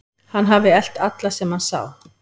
Hann hafi elt alla sem hann sá.